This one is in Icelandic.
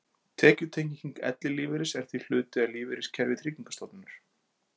Tekjutenging ellilífeyris er því hluti af lífeyriskerfi Tryggingarstofnunar.